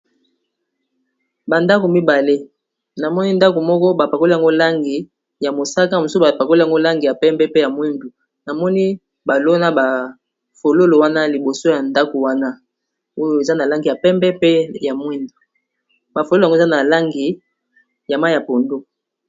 Ba ndako mibale, na moni ndako moko ba pakoli yango langi ya mosaka. Mosusu ba pakoli yango langi ya pembe, pe ya mwindu. Na moni, ba lona ba fololo wana liboso ya ndako wana. Oyo eza, na langi ya pembe, pe ya mwindu. Ba fololo yango, eza na langi ya mai ya pondu.